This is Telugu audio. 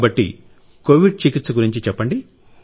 కాబట్టి కోవిడ్ చికిత్స గురించి చెప్పండి